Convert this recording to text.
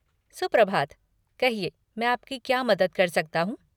सुप्रभात, कहिए मैं आपकी क्या मदद कर सकता हूँ?